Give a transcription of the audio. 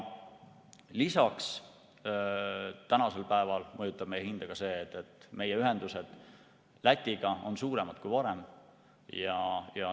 Lisaks mõjutab meie hinda ka see, et meie ühendused Lätiga on suuremad kui varem.